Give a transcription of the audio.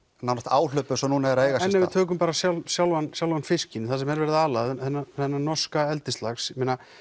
áhlaup eins og núna er að eiga en ef við tökum bara sjálfan sjálfan sjálfan fiskinn sem verið er að ala þennan þennan norska eldislax